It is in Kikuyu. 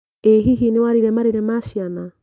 ĩ hihi nĩwarire marĩrĩ ma ciana?